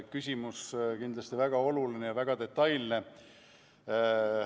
Küsimus on kindlasti väga oluline ja väga detailne.